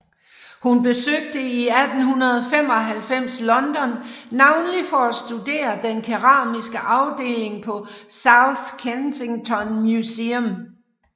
Hun besøgte 1895 London navnlig for at studere den keramiske afdeling på South Kensington Museum